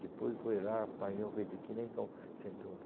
Depois foi lá, apanhou, feito que nem cão sem dono.